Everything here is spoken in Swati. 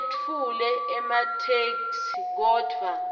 etfule ematheksthi kodvwa